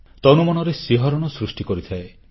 ଦେହମନରେ ଶିହରଣ ସୃଷ୍ଟି କରିଥାଏ